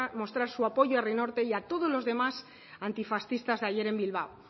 mostrar su apoyo a herri norte y a todos los demás antifascistas de ayer en bilbao